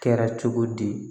Kɛra cogo di